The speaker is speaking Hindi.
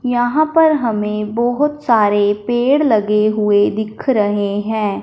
यहां पर हमें बहोत सारे पेड़ लगे हुए दिख रहे हैं।